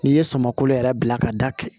N'i ye samako yɛrɛ bila ka da kɛ